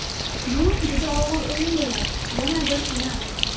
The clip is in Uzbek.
Bu juda og‘ir o‘yin bo‘ladi, yana bir final.